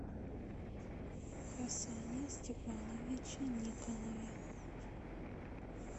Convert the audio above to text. хасане степановиче никонове